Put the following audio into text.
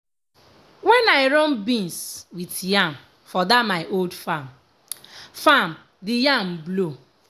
when i run beans with yam for that my old farm farm the yam blow.